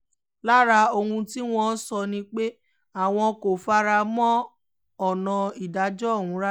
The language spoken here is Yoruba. lára àwọn ohun tí wọ́n sọ ni pé àwọn kò fara mọ́ ọ̀nà ìdájọ́ ọ̀hún rárá